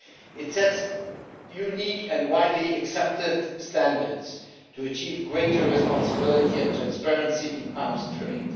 It sets unique and widely accepted standards to achieve greater responsibility and transparency in the arms trade.